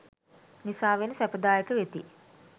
නිසාවෙන් සැපදායක වෙති.